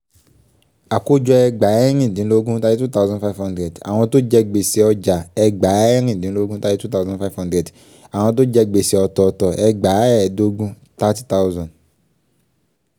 àkójọ ẹgbàáẹ̀rìndínlógún thirty two thousand five hundred àwọn tó jẹ gbèsè ọjà ẹgbàáẹ̀rìndínlógún thirty two thousand five hundred àwọn tó jẹ gbèsè ọ̀tọ̀ọ̀tọ̀ ẹgbàáẹ́ẹdógún thirty thousand.